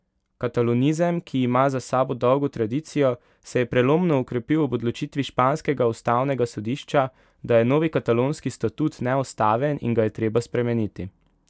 Katalonizem, ki ima za sabo dolgo tradicijo, se je prelomno okrepil ob odločitvi španskega ustavnega sodišča, da je novi katalonski statut neustaven in ga je treba spremeniti.